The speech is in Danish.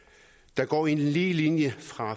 der går en lige linje fra